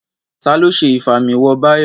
Ta ló ṣe Ìfimáwo Báyọ̀?